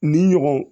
Ni ɲɔgɔn